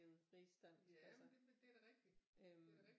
Rigsdansk altså øh